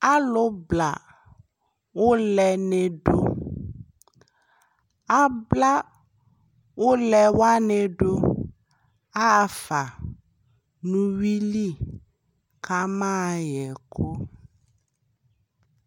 Alʋbla ʋlɛ ni dʋ Abla ʋlɛ wani dʋ yaɣa fa nʋ unwui li kamayaɣɛ ɛkʋ